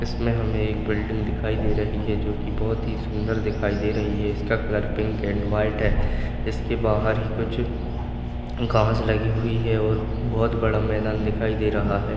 इसमे हमें एक बिल्डिंग दिखाई दे रही है जोकि बहूत ही सुंदर दिखाई दे रही है इसका कलर पिंक एंड वाईट है इसके बाहर ही कुछ घास लगी हुई है और बहुत बड़ा मैदान दिखाई दे रहा है।